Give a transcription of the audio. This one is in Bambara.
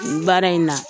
Nin baara in na